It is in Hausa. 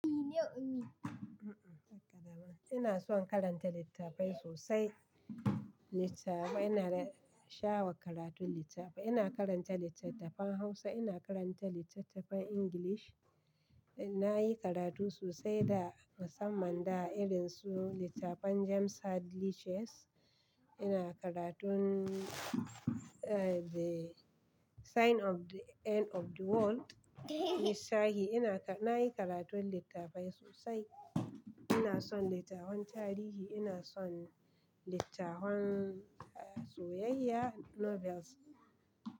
Ina son karanta littafai sosai. Littafai ina sha wa karatun littafai. Ina karanta littattafan Hausa, ina karanta littattafan English. Na yi karatu sosai da, musamman da irin su littafan James Hadley Chase. Ina karatun, eh, The Sign of the End of the World na Ishahi. Ina, na yi karatun littafai sosai. Ina son littafan tarihi, ina son littafan, eh, soyayya, novels.